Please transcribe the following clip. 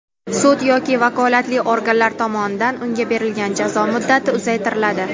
sud yoki vakolatli organlar tomonidan unga berilgan jazo muddati uzaytiriladi.